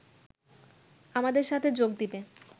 আমাদের সাথে যোগ দিবে